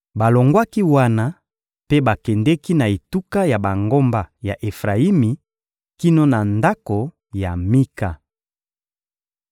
Balongwaki wana mpe bakendeki na etuka ya bangomba ya Efrayimi kino na ndako ya Mika.